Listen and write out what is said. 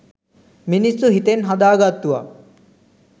මිනිස්සු හිතෙන් හදා ගත්තුවා.